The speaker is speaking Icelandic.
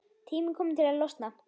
Tími kominn til að losna.